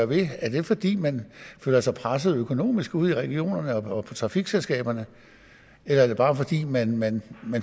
ved er det fordi man føler sig presset økonomisk ude i regionerne og trafikselskaberne eller er det bare fordi man man